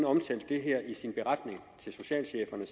omtalte det her i sin beretning som socialcheferne